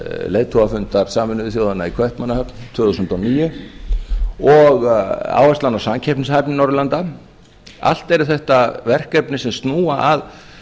leiðtogafundar sameinuðu þjóðanna í kaupmannahöfn tvö þúsund og níu og áherslan á samkeppnishæfni norðurlanda allt eru þetta verkefni sem snúa að